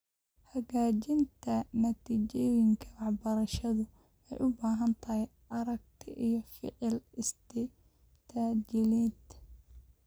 Hagaajinta natiijooyinka waxbarashadu waxay u baahan tahay aragti iyo ficil istiraatijiyadeed.